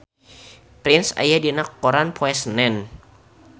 Prince aya dina koran poe Senen